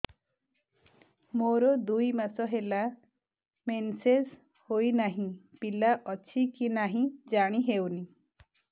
ମୋର ଦୁଇ ମାସ ହେଲା ମେନ୍ସେସ ହୋଇ ନାହିଁ ପିଲା ଅଛି କି ନାହିଁ ଜାଣି ହେଉନି